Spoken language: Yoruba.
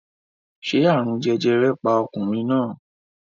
Ṣé àrùn jẹjẹrẹ pa ọkùnrin náà?